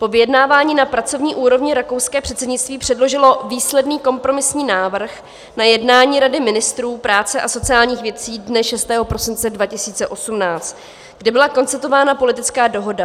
Po vyjednávání na pracovní úrovni rakouské předsednictví předložilo výsledný kompromisní návrh na jednání Rady ministrů práce a sociálních věcí dne 6. prosince 2018, kde byla konstatována politická dohoda.